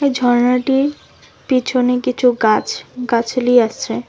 এই ঝর্ণাটির পিছনে কিছু গাছ গাছালি আছে।